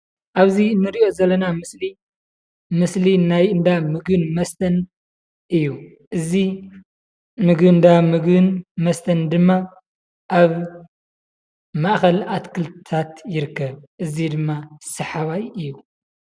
ኣብዚ እንሪኦ ዘለና ምስሊ ምስሊ ናይ እንዳ ምግብን መስተን እዩ፡፡ እዚ ምግባ እንዳ ምግብን መስተን ድማ ኣብ ማእኸል ኣትክልትታት ይርከብ፡፡ እዚ ድማ ሰሓባይ እዩ፡፡